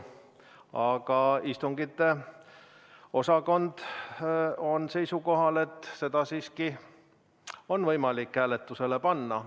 Aga istungite osakond on seisukohal, et selle ettepaneku siiski saab hääletusele panna.